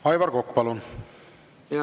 Aivar Kokk, palun!